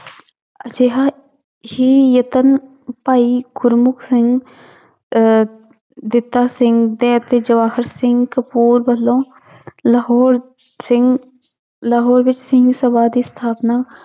ਅਜਿਹਾ ਹੀ ਯਤਨ ਭਾਈ ਗੁਰਮੁਖ ਸਿੰਘ ਅਹ ਸਿੰਘ ਤੇ ਅਤੇ ਸਿੰਘ ਕਪੂਰ ਵੱਲੋਂ ਲਾਹੌਰ ਸਿੰਘ ਲਾਹੌਰ ਵਿੱਚ ਸਿੰਘ ਸਭਾ ਦੀ ਸਥਾਪਨਾ